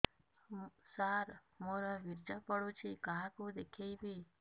ସାର ମୋର ବୀର୍ଯ୍ୟ ପଢ଼ୁଛି କାହାକୁ ଦେଖେଇବି